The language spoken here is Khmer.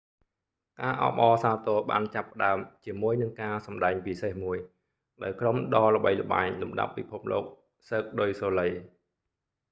ការអបអរសាទរបានចាប់ផ្តើមជាមួយនឹងការសម្ដែងពិសេសមួយ ដោយក្រុមដ៏ល្បីល្បាញលំដាប់ពិភពលោក cirque du soleil